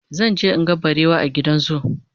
zanje in ga barewa a gidan zoo